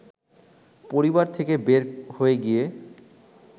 পরিবার থেকে বের হয়ে গিয়ে